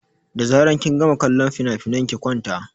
Da zaran kin gama kallon finafinan ki kwanta!